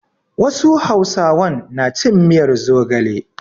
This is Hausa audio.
Wasu hausawan na cin miyar zogale.